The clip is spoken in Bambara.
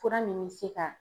Fura min bɛ se ka